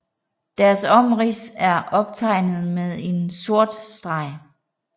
Deres omrids er optegnet med en sort streg